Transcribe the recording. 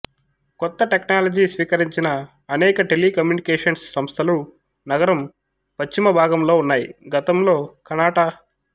కొత్త టెక్నాలజీ స్వీకరించిన అనేక టెలీకమ్యూనికేషన్స్ సంస్థలు నగరం పశ్చిమ భాగంలో ఉన్నాయి గతంలో కనాట